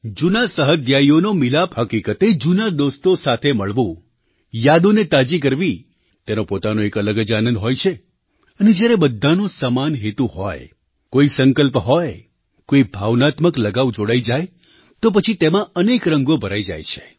જૂના સહાધ્યાયીઓનો મિલાપ હકીકતે જૂના દોસ્તો સાથે મળવું યાદોને તાજી કરવી તેનો પોતાનો એક અલગ જ આનંદ હોય છે અને જ્યારે બધાનો સમાન હેતુ હોય કોઈ સંકલ્પ હોય કોઈ ભાવનાત્મક લગાવ જોડાઈ જાય તો પછી તેમાં અનેક રંગો ભરાઈ જાય છે